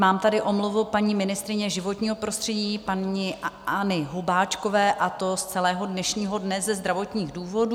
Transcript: Mám tady omluvu paní ministryně životního prostředí paní Anny Hubáčkové, a to z celého dnešního dne ze zdravotních důvodů.